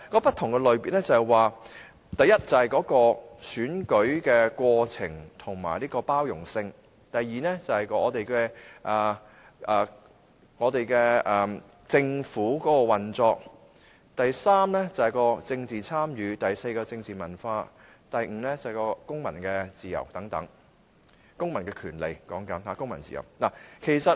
不同類別包括：第一，選舉的過程和包容性；第二是政府的運作；第三是政治參與；第四是政治文化；第五是公民自由和權利等。